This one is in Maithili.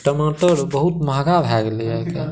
टमाटर बहुत महंगा भय गलय हिया।